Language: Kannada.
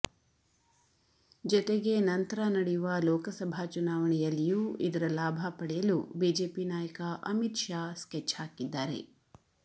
ಜೊತೆಗೆ ನಂತರ ನಡೆಯುವ ಲೋಕಸಭಾ ಚುನಾವಣೆಯಲ್ಲಿಯೂ ಇದರ ಲಾಭ ಪಡೆಯಲು ಬಿಜೆಪಿ ನಾಯಕ ಅಮಿತ್ ಶಾ ಸ್ಕೆಚ್ ಹಾಕಿದ್ದಾರೆ